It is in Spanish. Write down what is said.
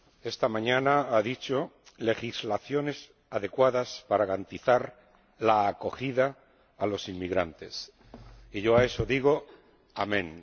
Esta mañana ha dicho legislaciones adecuadas para garantizar la acogida a los inmigrantes y yo a eso digo amén.